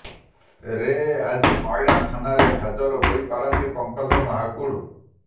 ରେ ଆଜି ମହିଳା ଥାନାରେ ହାଜର ହୋଇ ପାରନ୍ତି ପଙ୍କଜ ମହାକୁଡ